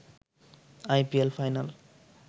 I P L final